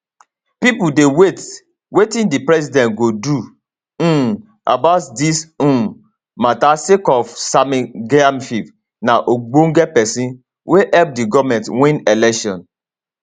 pipo dey wait wetin di president go do um about dis um mata sake of sammy gyamfi na ogbonge pesin wey help di goment win election